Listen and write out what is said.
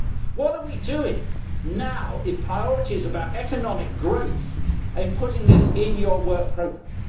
What are we doing now if the priority is about economic growth in putting this in your work programme?